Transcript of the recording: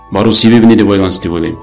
бару себебіне де байланысты деп ойлаймын